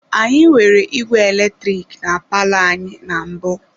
Anyị nwere igwe eletrik na palọ anyị na mbụ.